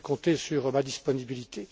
Vous pouvez compter sur ma disponibilité.